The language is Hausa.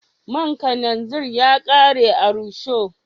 Man karanzir ya kare a rusho